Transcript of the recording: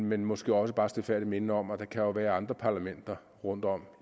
men måske også bare stilfærdigt minde om at der jo kan være andre parlamenter rundtom